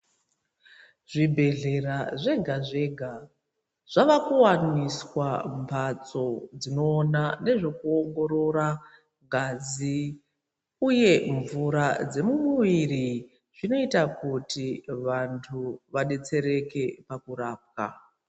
Zvibhedhlera zvega zvega zvavakuwaniswa mbatso dzinoona ngezvekuongorora ngazi uye mvura dzemumuviri zvinoita kuti vantu vadetsereke pakurapwa.